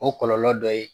O kɔlɔlɔ dɔ ye